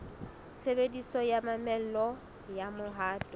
tshebediso ya mamello ya mohato